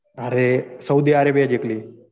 अरे Saudi Arabia जिंकली.